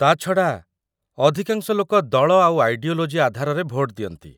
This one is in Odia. ତା'ଛଡ଼ା, ଅଧିକାଂଶ ଲୋକ ଦଳ ଆଉ ଆଇଡିଓଲୋଜି ଆଧାରରେ ଭୋଟ ଦିଅନ୍ତି ।